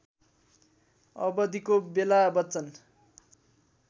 अवधिको बेला बच्चन